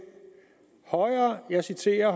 og jeg citerer